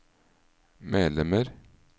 medlemmer